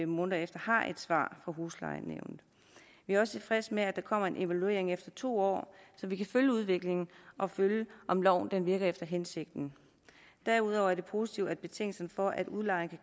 måneder har et svar fra huslejenævnet vi er også tilfredse med at der kommer en evaluering efter to år så vi kan følge udviklingen og følge om loven virker efter hensigten derudover er det positivt at betingelsen for at udlejeren